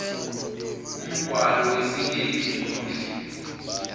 umgwalo wesikhethu muhle